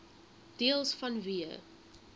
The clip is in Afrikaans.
deels vanweë